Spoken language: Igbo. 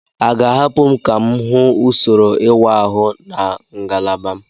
A ga-ahapụ m ka m hụ usoro ịwa ahụ na ngalaba m?